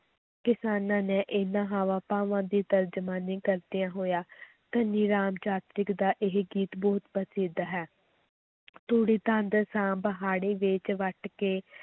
ਕਿਸਾਨਾਂ ਨੇ ਇਹਨਾਂ ਹਾਵਾਂ ਭਾਵਾਂ ਦੀ ਤਰਜਮਾਨੀ ਕਰਦਿਆਂ ਹੋਇਆਂ ਧਨੀ ਰਾਮ ਚਾਤ੍ਰਿਕ ਦਾ ਇਹ ਗੀਤ ਬਹੁਤ ਪ੍ਰਸਿੱਧ ਹੈ ਤੂੜੀ ਤੰਦ ਸਾਂਭ ਹਾੜ੍ਹੀ ਵੇਚ ਵੱਟ ਕੇ,